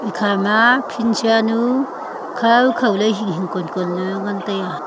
ekhama phit sha nu khaw khaw ley hing hing kon kon ley ngan tai a.